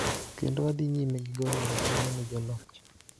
kendo wadhi nyime gi goyo erokamano ne joloch